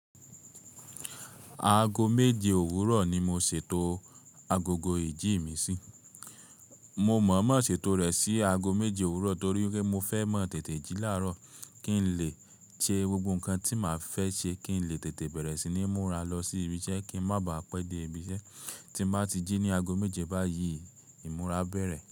Aago méje òwúrọ̀ ni mo ṣètò agogo ìjí mi sí. Mo mọ̀ọ́mọ̀ ṣètò rẹ̀ sí aago méje òwúrọ̀ torí wípé pé mo fẹ́ máa tètè jí láàárọ̀ kí n lè ṣe gbogbo nǹkan tí màá fẹ́ ṣe, kí n lè tètè bẹ̀rẹ̀ sí ní múra lọ sí ibi iṣẹ́ kí ń má baà pẹ́ dé ibi iṣẹ́. Tí n bá ti jí ní aago méje báyìí, ìmúra bẹ̀rẹ̀.